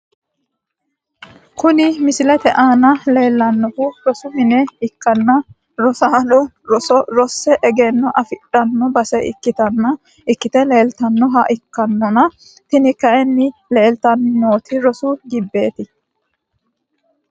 Kuni misilete aana leelanohu rosu mine ikanna rosano rose egenno afidhano base ikite leeltanoha ikannonna tini kayiini leeltani nooti rosu gibeeti.